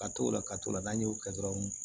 Ka t'o la ka t'o la n'an y'o kɛ dɔrɔn